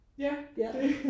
ja det